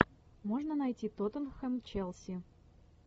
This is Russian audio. можно найти тоттенхэм челси